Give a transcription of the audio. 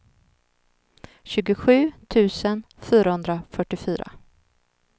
tjugosju tusen fyrahundrafyrtiofyra